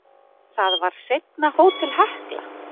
Það var seinna Hótel Hekla.